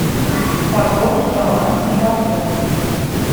пополнить баланс мегафон